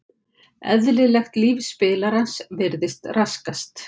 Eðlilegt líf spilarans virðist raskast.